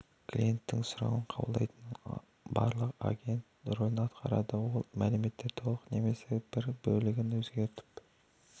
клиенттің сұрауын қабылдайтын аралық агент ролін атқарады ол мәліметті толық немесе тек бір бөлігін өзгертіп